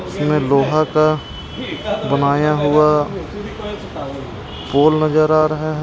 इसमें लोहा का बनाया हुआ पोल नजर आ रहा हैं।